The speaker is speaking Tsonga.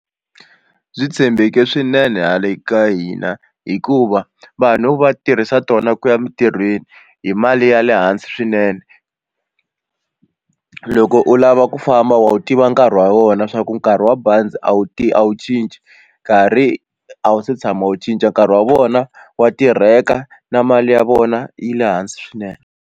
Byi tshembeke swinene hale ka hina hikuva vanhu va tirhisa tona ku ya emintirhweni hi mali ya le hansi swinene loko u lava ku famba wu tiva nkarhi wa wona swa ku nkarhi wa bazi a wu ti a wu cinci nkarhi a wu se tshama wu cinca nkarhi wa vona wa tirheka na mali ya vona yi le hansi swinene.